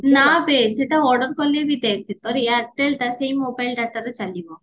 ନାବେ ସେଟା order କଲେ ବି ଦେଖ ତୋର ଏୟାରଟେଲ ଟା ସେଇ ମୋବାଇଲ dataରେ ଚାଲିବ